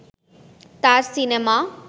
তার সিনেমা